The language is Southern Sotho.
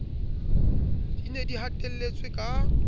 di ne di hatelletswe ka